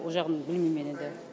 ол жағын білмеймін мен енді